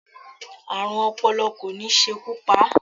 Ààrùn ọpọlọ kò ní ṣekú pa á.